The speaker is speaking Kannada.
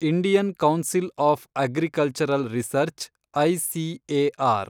Indian council of agricultural research , ICAR